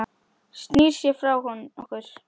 Snýr sér frá okkur.